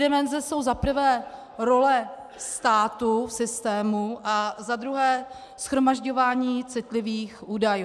Dimenze jsou za prvé role státu v systému a za druhé shromažďování citlivých údajů.